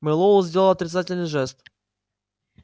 мэллоу сделал отрицательный жест